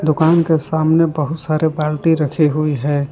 दुकान के सामने बहुत सारे बाल्टी रखे हुई है।